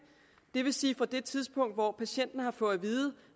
det vil sige fra det tidspunkt hvor patienten har fået at vide